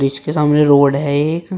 इसके सामने रोड है एक।